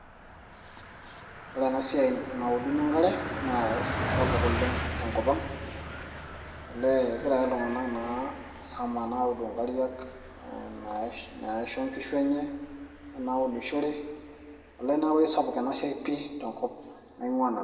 Ore ena siai nauduni enkare naa isapuk oleng tenkop ang egira ake iltung'anak naan amanaa audu inkariak naisho nkishu enye o naunishore olee neeku aisapuk ena siai pii tenkop naing'ua nanu.